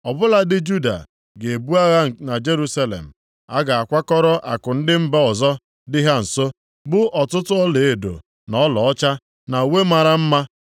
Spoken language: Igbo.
Ọ bụladị Juda ga-ebu agha na Jerusalem. A ga-akwakọrọ akụ ndị mba ọzọ dị ha nso, bụ ọtụtụ ọlaedo na ọlaọcha, na uwe mara mma.